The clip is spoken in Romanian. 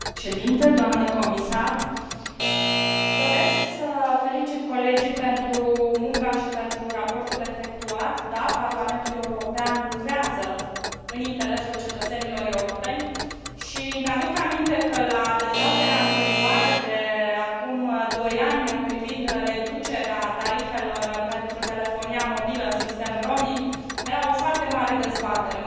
Domnule președinte, doamnă comisar, doresc să felicit colegii pentru munca și pentru raportul efectuat, da, Parlamentul European lucrează în interesul cetățenilor europeni și îmi aduc aminte că la dezbaterea anterioară de acum doi ani privind reducerea tarifelor pentru telefonia mobilă în sistem roaming era o foarte mare dezbatere.